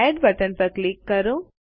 add button પર click કરો